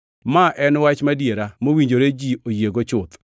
Ma en wach madiera mowinjore ji oyiego chuth,